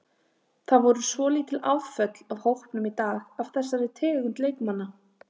Það voru svolítil afföll af hópnum í dag af þessari tegund leikmanna.